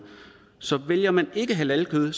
så vælger man ikke halalkød